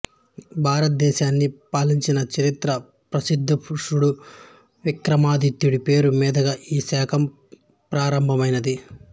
భారతదేశాన్ని పరిపాలించిన చరిత్ర ప్రసిద్ధపురుషుడు విక్రమాదిత్యుడి పేరు మీదుగా ఈ శకం ప్రారంభమైంది